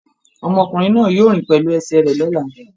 Ọmọkùnrin náà yóò rìn pẹ̀lú ẹsẹ̀ rẹ̀ lọ́la.